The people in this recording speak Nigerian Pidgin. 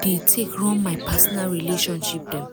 dey take run my personal relationship dem.